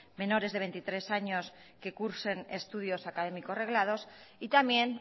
menores de veintitrés años que cursen estudios académicos reglados y también